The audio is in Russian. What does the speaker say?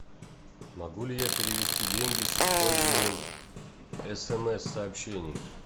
могу ли я перевести деньги с использованием смс сообщений